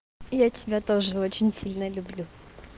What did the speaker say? я тебя тоже очень сильно люблю